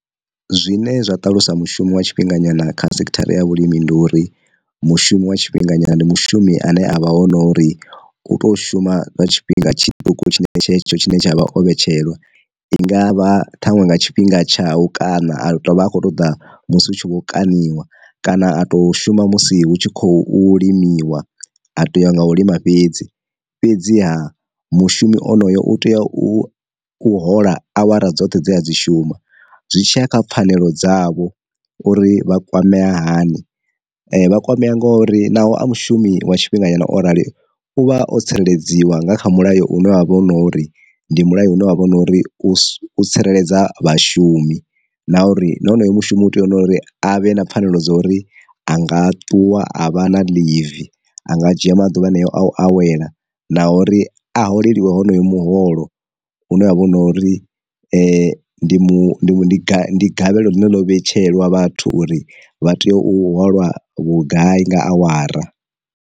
Zwine zwa ṱalusa mushumo wa tshifhinga nyana kha sekhithara ya vhulimi ndi uri, mushumo wa tshifhinga nyana ndi mushumi ane avha hone nori u to shuma nga tshifhinga tshiṱuku tshine tshetsho tshine tsha avha o vhetshelwa, i ngavha ṱhaṅwe nga tshifhinga tshawu kana a tou vha a khou ṱoḓa musi hu tshi vho kaṋiwa, kana a to shuma musi hu tshi khou limiwa a tea u nga u lima fhedzi, fhedzi ha mushumi onoyo u tea u u hola awara dzoṱhe dzine a dzi shuma. Zwi tshiya kha pfanelo dzavho uri vha kwamea hani vha kwamea ngori naho a mushumi wa tshifhinga nyana o rali uvha o tsireledziwa nga kha mulayo une wa vha u na uri ndi mulayo une wa vha u na uri u tsireledza vhashumi, na uri na honoyo mushumi u tea uri a vhe na pfanelo dza uri anga ṱuwa a vha na ḽivi, a nga dzhia maḓuvha haneo a u awela na uri a holeliwe honoyo muholo une wa vha hu na uri ndi mu gavhe ndi gavhelo ḽine ḽo vhetshelwa vhathu uri vha tea u holwa vhugai nga awara.